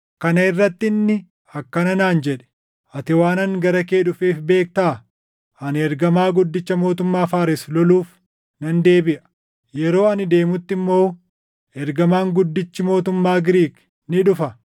Kana irratti inni akkana naan jedhe; “Ati waan ani gara kee dhufeef beektaa? Ani ergamaa guddicha mootummaa Faares loluuf nan deebiʼa; yeroo ani deemutti immoo ergamaan guddichi mootummaa Giriik ni dhufa;